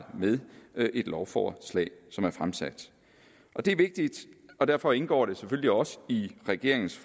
med et lovforslag som er fremsat det er vigtigt og derfor indgår det selvfølgelig også i regeringens